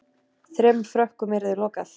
Þremur Frökkum yrði lokað